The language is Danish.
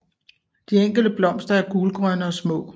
De enkelte blomster er gulgrønne og små